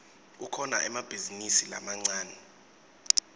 kukhona emabhizinisi lamancane